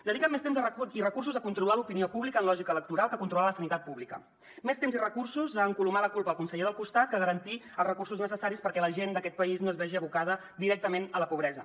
dediquen més temps i recursos a controlar l’opinió pública amb lògica electoral que a controlar la sanitat pública més temps i recursos a encolomar la culpa al conseller del costat que a garantir els recursos necessaris perquè la gent d’aquest país no es vegi abocada directament a la pobresa